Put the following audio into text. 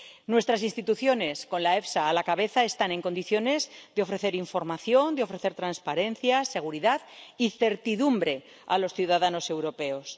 Nuestras instituciones, con la EFSA a la cabeza, están en condiciones de ofrecer información, de ofrecer transparencia, seguridad y certidumbre a los ciudadanos europeos.